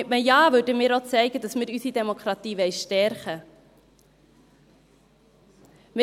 Mit einem Ja würden wir auch zeigen, dass wir unsere Demokratie stärken wollen.